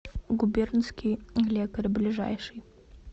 губернский лекарь ближайший